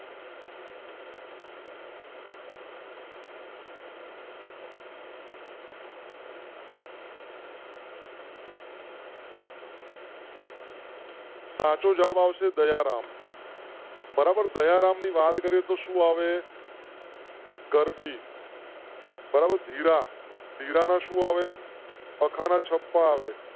સાચો જવાબ આપશે દયારામ બરાબર દયારામ ની વાત કરીએ તો સુ હવે . ગરબી. બરાબર ધીરા ધીરા ના શું આવે? ખાના છપા વે.